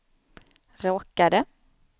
råkade